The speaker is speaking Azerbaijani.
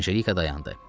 Anjelika dayandı.